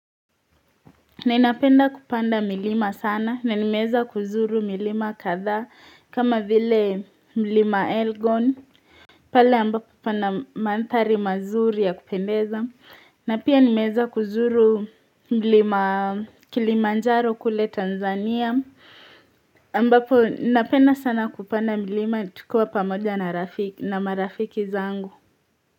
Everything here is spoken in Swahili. Ninapenda kupanda milima sana na nimeweza kuzuru milima kadhaa kama vile mlima elgon pale ambapo pana mandhari mazuri ya kupendeza na pia nimeweza kuzuru mlima kilimanjaro kule tanzania ambapo napenda sana kupanda milima tukiwa pamoja na marafiki zangu.